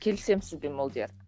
келісем сізбен молдияр